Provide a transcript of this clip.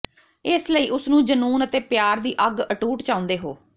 ਇਸ ਲਈ ਉਸ ਨੂੰ ਜਨੂੰਨ ਅਤੇ ਪਿਆਰ ਦੀ ਅੱਗ ਅਟੁੱਟ ਚਾਹੁੰਦੇ ਹੋ